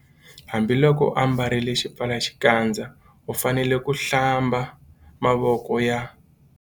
Hambiloko u ambarile xipfalaxikandza u fanele ku- Hlamba mavoko ya.